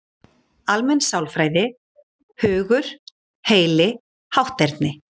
Almenn sálfræði: Hugur, heili, hátterni.